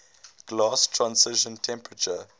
glass transition temperature